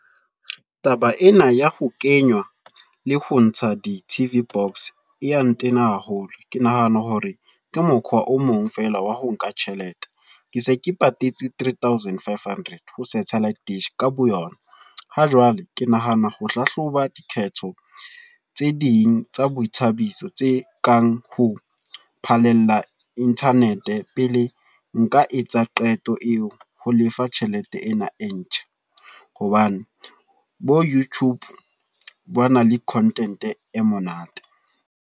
Taba ena ya ho kenywa, le ho ntsha di-T_V box e ya ntena haholo. Ke nahana hore ke mokgwa o mong fela wa ho nka tjhelete. Ke se ke patetse three thousand five hundred. Ho satellite dish, ka boyona. Ha jwale, ke nahana ho hlahloba dikgetho tse ding tsa boithabiso tse kang ho phalella internet. Pele nka etsa qeto ya ho lefa tjhelete ena e ntjha. Hobane bo YouTube ba na le content e monate.